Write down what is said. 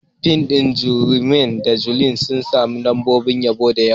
Fim ɗin Romeo da Juliet sun sami lambobin yabo da yawa.